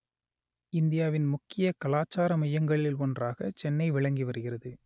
இந்தியாவின் முக்கிய கலாச்சார மையங்களில் ஒன்றாக சென்னை விளங்கி வருகிறது